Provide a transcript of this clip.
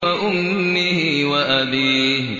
وَأُمِّهِ وَأَبِيهِ